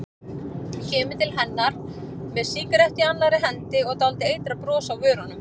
Kemur til hennar með sígarettu í annarri hendi og dálítið eitrað bros á vörunum.